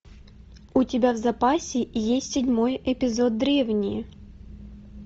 у тебя в запасе есть седьмой эпизод древние